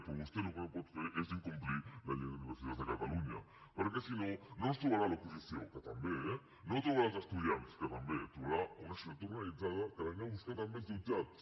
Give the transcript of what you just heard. però vostè el que no pot fer és incomplir la llei d’universitats de catalunya perquè si no no ens trobarà a l’oposició que també eh no trobarà els estudiants que també trobarà una societat organitzada que l’anirà a buscar també als jutjats